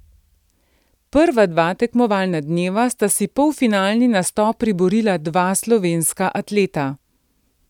Prva dva tekmovalna dneva sta si polfinalni nastop priborila dva slovenska atleta.